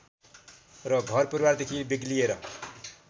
र घर परिवारदेखि बेग्लिएर